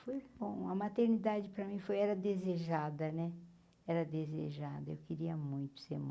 Foi bom, a maternidade para mim foi, era desejada, né, era desejada, eu queria muito ser mãe.